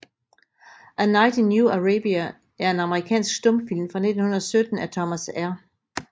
A Night in New Arabia er en amerikansk stumfilm fra 1917 af Thomas R